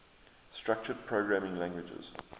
structured programming languages